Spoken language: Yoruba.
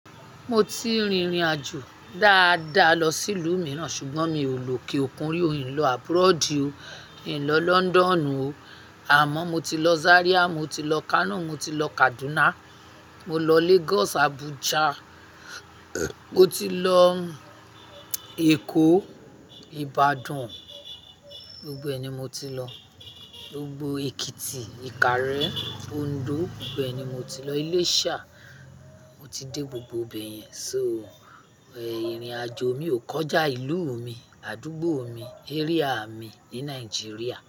Mo ti rìnrìn àjò dáadáa lọ sí ìlú mìíràn, ṣùgbọ́n mi ò lò kí òkun rí, in lo àbroad o ìn London o. Àmọ́ mo ti lọ Zaria, mo ti lọ Kano, mo ti lọ Kaduna, mo lọ Lagos, Abuja, mo ti lọ Èkó, Ibadan. Gbogbo ẹni mo ti lọ, gbogbo Ekiti, Ikare, Ondo, gbogbo ẹni mo ti lọ, Ilesa. Mo ti dé gbogbo ibẹ̀yẹn. So, ìrìn àjò mi ò kọjá ìlú mi, àdúgbò mi, area mi ní Nàìjíríà.